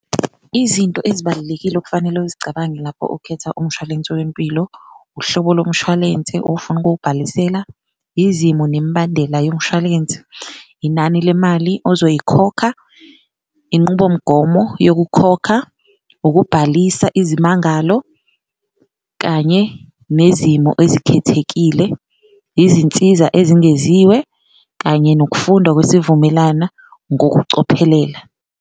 Izinto ezibalulekile okufanele uzicabange lapho ukhetha umshwalense wempilo, uhlobo lomshwalense ofuna ukuwubhalisela, izimo nemibandela yomshwalensi, inani lemali ozoyikhokha inqubomgomo yokukhokha, ukubhalisa izimangalo. Kanye nezimo ezikhethekile, izinsiza ezengeziwe, kanye nokufundwa kwesivumelana ngokucophelela.